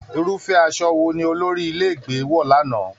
Irufẹ aṣọ wò ní olórí ilé ìgbé wọ l'ana?